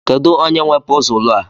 Kedụ onye nwe pọzul a?